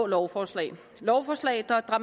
lovforslaget lovforslaget